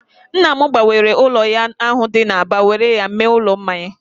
Nna m gbanwere ụlọ ya ahụ dị n'Aba were ya mee ụlọ mmanya